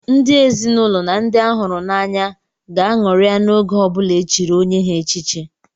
Ndị ezinụlọ na ndị a hụrụ n'anya ga ṅụrịa n'oge ọbụla e chiri onye ha echichi.